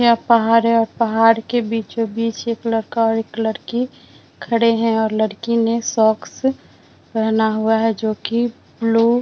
यहाँ पहाड़ है और पहाड़ के बीचो-बिच एक लड़का और एक लड़की खड़े है और लड़की ने शॉक्स पेहना हुआ है जोकि लू --